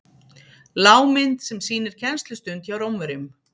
lágmynd sem sýnir kennslustund hjá rómverjum